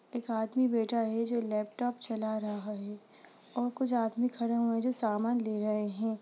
एक आदमी बैठा है जो लैपटॉप चला रहा है और कुछ आदमी खड़े हुए हैं जो समान ले रहे हैं।